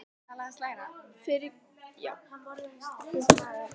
Fyrir því hef ég vitni, mjög ábyggilega menn.